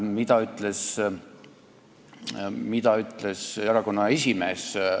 Mida ütles erakonna esimees?